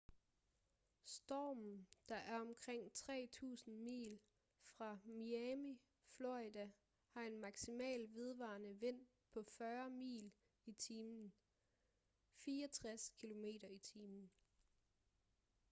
stormen der er omkring 3.000 mil fra miami florida har en maksimal vedvarende vind på 40 mil i timen 64 km/t